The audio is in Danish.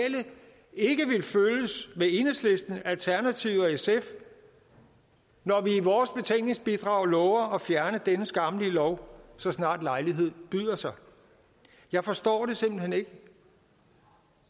ikke vil følges med enhedslisten alternativet og sf når vi i vores betænkningsbidrag lover at fjerne denne skammelige lov så snart lejligheden byder sig jeg forstår det simpelt hen ikke